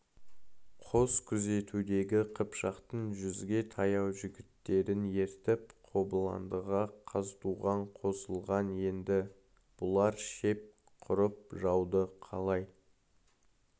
қос күзетудегі қыпшақтың жүзге таяу жігіттерін ертіп қобыландыға қазтуған қосылған енді бұлар шеп құрып жауды қалай